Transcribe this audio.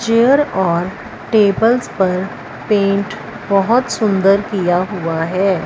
Chair और tables पर paint बहोत सुन्दर किया हुआ है।